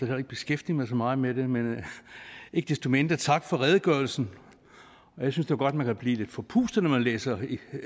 heller ikke beskæftiget mig så meget med det men ikke desto mindre tak for redegørelsen jeg synes da godt man kan blive lidt forpustet når man læser